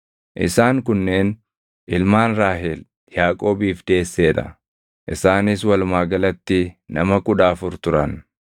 Isaan kunneen ilmaan Raahel Yaaqoobiif deessee dha; isaanis walumaa galatti nama kudha afur turan.